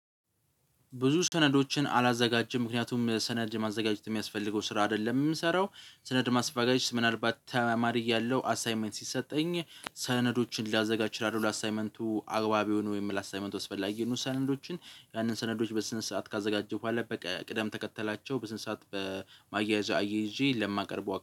ብዙ ሰነዶችን አላዘጋጀም ምክንያቱም ሰነድ ማዘጋጀት የሚያስፈልገው ስራ አይደለም። የምንሰራው ሰነድ ማስባገጅ ምናልባት ተማሪ እያለሁ አሳይመንት ሲሰጠኝ ሰነዶችን ላዘጋጅ ይችላል ለአሳይመንቱ አግባቢ ሆኖ ወይም ላሳመንት ወስደን ሰነዶችን ያንን ሰነዶች በስንት ሰዓት ካዘጋጀሁ በኋላ በቃ ቅደም ተከተላቸው በስንት ሰዓት በማያያዝ አያይዤ ለማቀርበው